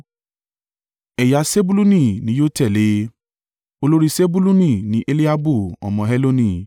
Ẹ̀yà Sebuluni ni yóò tẹ̀lé e. Olórí Sebuluni ni Eliabu ọmọ Heloni.